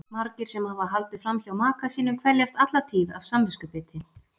Margir sem hafa haldið fram hjá maka sínum kveljast alla tíð af samviskubiti.